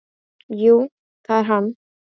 Jú, það er hann.